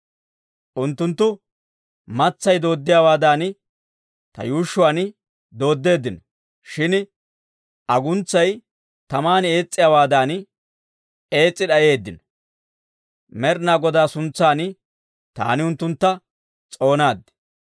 Unttunttu matsay doodiyaawaadan, ta yuushshuwaan dooddeeddino. Shin aguntsay taman ees's'iyaawaadan ees's'i d'ayeeddino. Med'inaa Godaa suntsan taani unttuntta s'oonaad.